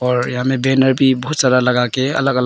और यहां मैं बैनर भी बहुत सारा लगा के अलग अलग--